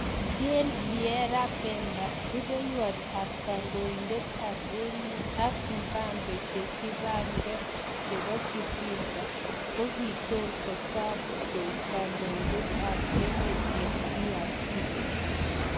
Jean pierre Bemba:Rupewot ap kandoitet ap emet ak mbabe che kipangee chepo kivita kokokiter kosam koip kandoitet ap emet en DRC